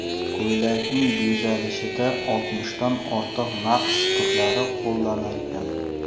Ko‘ylakning bezalishida oltmishdan ortiq naqsh turlari qo‘llanilgan.